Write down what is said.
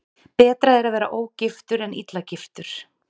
Betra er að vera ógiftur en illa giftur.